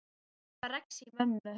Hún var alltaf að rexa í mömmu.